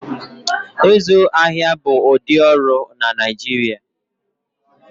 Ịzụ ahịa bụ ụdị ọrụ na Naijiria